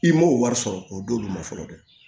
I m'o wari sɔrɔ k'o d'olu ma fɔlɔ dɛ